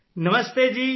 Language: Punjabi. ਨਮਸਤੇ ਜੀ